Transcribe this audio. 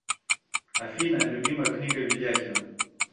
афина любимая книга ведяхина